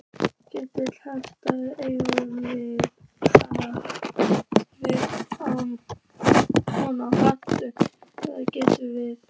Kjartan Hreinn: Eigum við von á áframhaldandi aðgerðum?